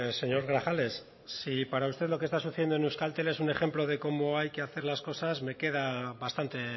señor grajales si para usted lo que está sucediendo en euskaltel es un ejemplo de cómo hay que hacer las cosas me queda bastante